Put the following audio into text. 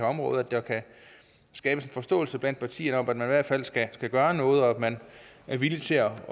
område at der kan skabes en forståelse blandt partierne om at man i hvert fald skal gøre noget og at man er villig til at